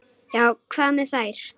Já, hvað með þær?